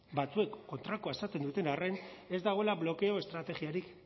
batzuek kontrakoa esaten duten arren ez dagoela blokeo estrategiarik